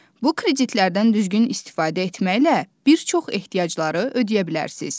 Bu kreditlərdən düzgün istifadə etməklə bir çox ehtiyacları ödəyə bilərsiz.